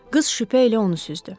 Qız şübhə ilə onu süzdü.